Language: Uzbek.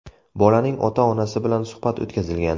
Bolaning ota-onasi bilan suhbat o‘tkazilgan.